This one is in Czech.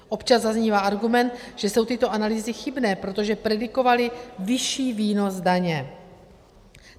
Občas zaznívá argument, že jsou tyto analýzy chybné, protože predikovaly vyšší výnos daně.